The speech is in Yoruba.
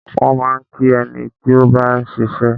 Wọ́n máa ń kí ẹni tí ó bá ń ṣiṣẹ́.